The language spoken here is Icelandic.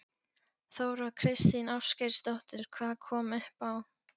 Þóra Kristín Ásgeirsdóttir: Hvað kom upp á?